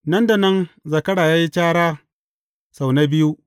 Nan da nan zakara ya yi cara sau na biyu.